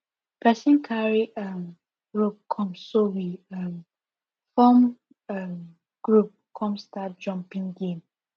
person cary um rope come so we um form um group come start jumping game